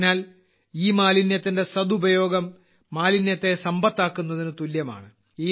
അതിനാൽ ഇമാലിന്യത്തിന്റെ സദുപയോഗം മാലിന്യത്തെ സമ്പത്താക്കുന്നതിന് തുല്യമാണ്